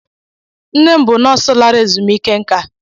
Nne m bụ nọọsụ lara ezumike nká.